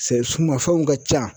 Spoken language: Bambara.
Sɛ sumanfɛnw ka ca